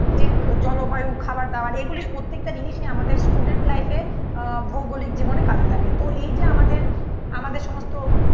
যে জলবায়ু খাবার দাবার এগুলি প্রত্যেকটা জিনিসই আমাদের স্টুডেন্ট লাইফে আহ ভৌগোলিক জীবনে কাজে লাগে. তো এই যে আমাদের আমাদের সমস্ত